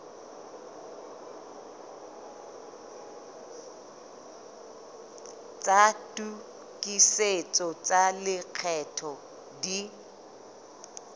tsa tokisetso tsa lekgetho di